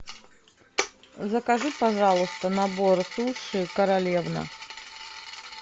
закажи пожалуйста набор суши королевна